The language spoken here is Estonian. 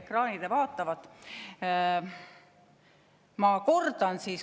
ekraanilt vaatate!